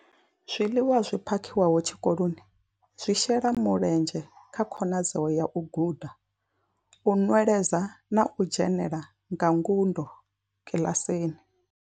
Zwiḽiwa zwi phakhiwaho tshikoloni zwi shela mulenzhe kha khonadzeo ya u guda, u nweledza na u dzhenela nga ngudo kiḽasini.